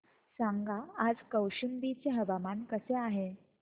सांगा आज कौशंबी चे हवामान कसे आहे